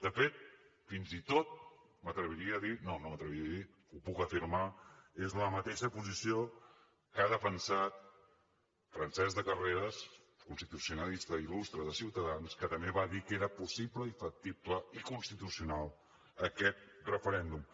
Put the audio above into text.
de fet fins i tot m’atreviria a dir no no m’atreviria a dir ho puc afirmar és una mateixa posició que ha defensat francesc de carreras constitucionalista il·lustre de ciutadans que també va dir que era possible i factible i constitucional aquest referèndum